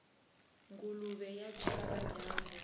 nguluve ya chava dyambu